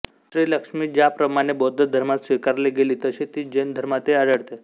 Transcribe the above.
श्रीलक्ष्मी ज्याप्रमाणे बौद्ध धर्मात स्वीकारली गेली तशी ती जैन धर्मातही आढळते